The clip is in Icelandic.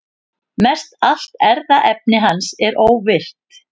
Mestallt erfðaefni hans er óvirkt.